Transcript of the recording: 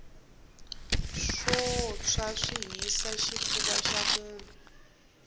swo tshwa swi hisa xifufa xa munhu